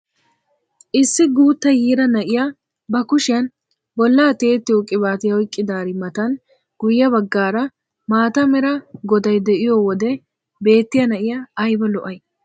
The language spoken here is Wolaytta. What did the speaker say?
Issi guutta yiira na'iyaa ba kushiyaan bollaa tiyettiyoo qibatiyaa oyqidaari matan guye baggaara maata mera goday de'iyoo wode beettiyaa na'iyaa ayba lo'ayi!